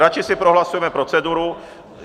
Radši si prohlasujeme proceduru.